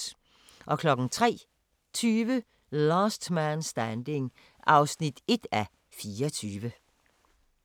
03:20: Last Man Standing (1:24)